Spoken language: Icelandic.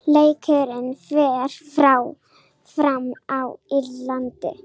Leikurinn fer fram á Írlandi.